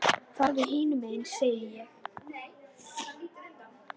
Farðu hinum megin sagði ég.